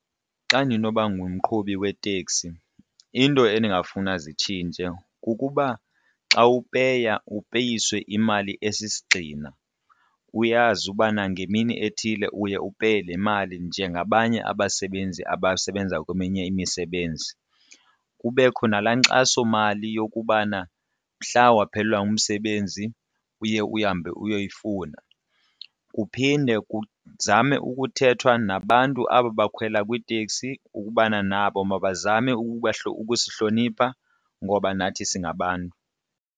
Xa ndinoba ngumqhubi weteksi into endingafuna zitshintshe kukuba xa upeya upeyiswe imali esisigxina uyazi ubana ngemini ethile uye upeye le mali njengabanye abasebenzi abasebenza kweminye imisebenzi, kubekho nalaa nkxasomali yokubana mhla waphelelwa ngumsebenzi uye uhambe uyoyifuna. Kuphinde kuzame ukuthethwa nabantu aba bakhwela kwiteksi ukubana nabo mabazame ukusihlonipha ngoba nathi singabantu.